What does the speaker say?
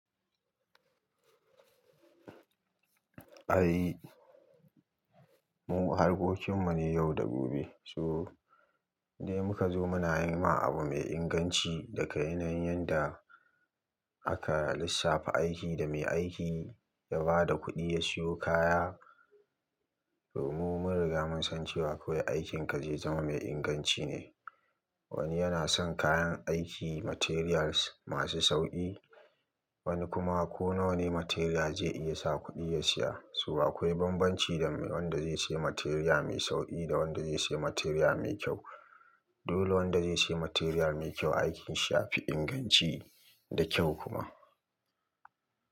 Ai mu harkokin mu ne yau da gobe. So dai muka zo muna yi ma abu mai inganci daga yanayin yanda aka lissafa aiki da mai aiki da bada kudi ya siyo kaya. To mu mun riga mun san cewa kawai aikinka zai zama mai inganci ne. Wani yana son kayan aiki materials masu sauƙi, wani kuma ko nawa ne material zai iya sa kuɗi ya siya. To akwai bambanci dame wanda zai siya material mai sauƙi da wanda zai siya material mai kyau. Dole wanda zai siya material mai kyau aikin shi ya fi inganci da kyau kuma.